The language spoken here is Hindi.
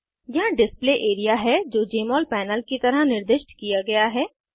यहाँ डिस्प्ले एरिया है जो जमोल पैनल की तरह निर्दिष्ट किया गया है